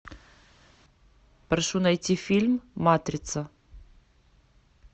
прошу найти фильм матрица